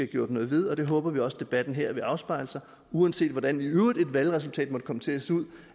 gjort noget ved og det håber vi også debatten her vil afspejle uanset hvordan i øvrigt et valgresultat måtte komme til at se ud